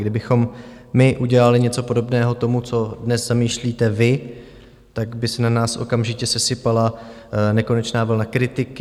Kdybychom my udělali něco podobného tomu, co dnes zamýšlíte vy, tak by se na nás okamžitě sesypala nekonečná vlna kritiky.